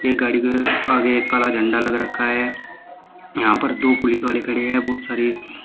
गाड़ी के आगे एक काला झंडा लग रखा है यहाँ पर दो पुलिस वाले खड़े हैं बहुत सारे--